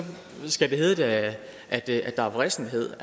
skal det hedde at der er vrissenhed